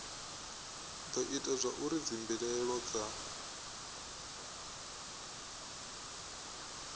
do ita zwauri dzimbilaelo dza